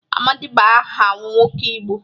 Amadị bụ aha nwoke Igbo.